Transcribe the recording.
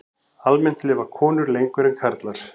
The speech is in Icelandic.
Almennt lifa konur lengur en karlar.